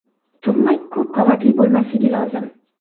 Turmak ko‘p qavatli bo‘lmasligi lozim.